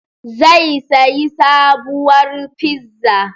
Zai sayi sabuwar fizza